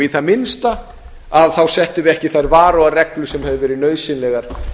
í það minnsta settum við ekki þær varúðarreglur sem hefðu verið nauðsynlegar